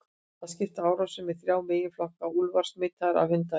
Þeir skipta árásunum í þrjá meginflokka: Úlfar smitaðir af hundaæði.